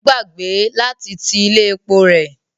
Ó gbàgbé láti ti ilé epo rẹ̀.